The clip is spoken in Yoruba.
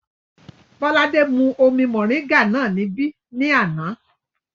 Bọ́ládé mú omi mọ̀ríńgà náà níbí ní àná